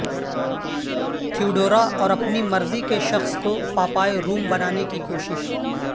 Theodora اور اپنی مرضی کے شخص کو پاپائے روم بنانے کی کوشش